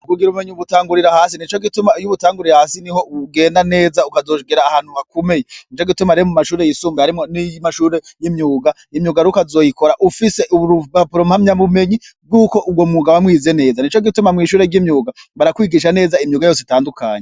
kugira ubumenyi ubutangurira hasi nico gituma iy'ubutanguriye hasi niho ugenda neza ukazogera ahantu hakomeye, nico gituma rero mu mashure yisumbuye harimwo n'iyi mashure y'imyuga imyuga rero ukazoyikora ufise urubapuro mpamya mbumenyi bw'uko ubwo muga wamwize neza ni co gituma mu ishure ry'imyuga barakwigisha neza imyuga yose itandukanye.